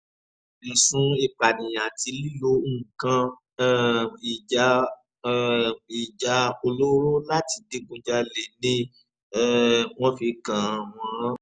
ẹ̀sùn ìpànìyàn àti lílo nǹkan um ìjà um ìjà olóró láti digunjalè ni um wọ́n fi kàn wọ́n